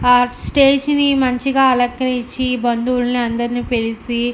ఆ స్టేజి ని మంచిగా అలంకరించి బంధువులు అందరిని పిలిచి --